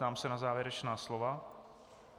Ptám se na závěrečná slova.